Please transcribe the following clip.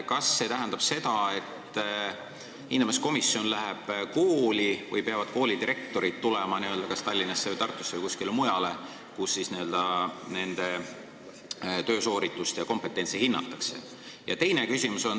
Kas see tähendab seda, et hindamiskomisjon läheb kooli või peavad koolidirektorid minema kas Tallinnasse või Tartusse või kuskile mujale, kus siis nende töösooritust ja kompetentsi hinnatakse?